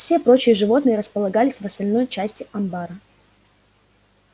все прочие животные располагались в остальной части амбара